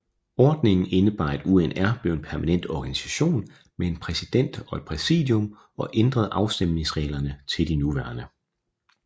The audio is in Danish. Ordningen indebar at UNR blev en permanent organisation med en præsident og et præsidium og ændrede afstemningsreglerne til de nuværende